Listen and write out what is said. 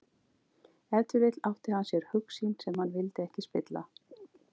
Ef til vill átti hann sér hugsýn sem hann vildi ekki spilla.